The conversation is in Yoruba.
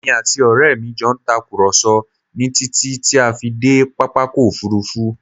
Èmi àti ọrẹ mi jọ ń tàkùrọ̀sọ ni títí ti a fi dé pápákọ̀ Òfurufú